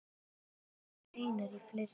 Hann uppgötvaði nýja reikistjörnu!